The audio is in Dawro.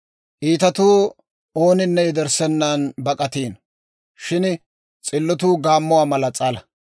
Iitatuu ooninne yederssennan bak'atiino; shin s'illotuu gaammuwaa mala s'ala.